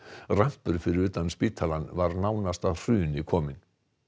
rampur fyrir utan spítalann var nánast að hruni kominn